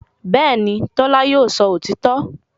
Bẹ́ẹ̀ni, Tọ́lá yóò sọ òtítọ́